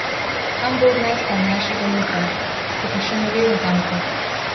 Kam bo odneslo mlajšega Luko, se pa še ne ve natanko ...